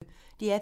DR P1